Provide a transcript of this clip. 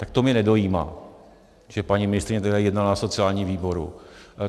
Tak to mě nedojímá, že paní ministryně jednala na sociálním výboru.